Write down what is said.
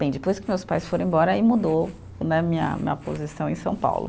Bem, depois que meus pais foram embora, aí mudou né, minha, minha posição em São Paulo.